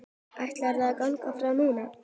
Ætlarðu að ganga frá núna?